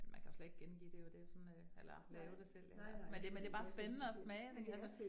Men man kan jo slet gengive det jo, det jo sådan øh eller lave det selv eller, men det men det bare spændende at smage det altså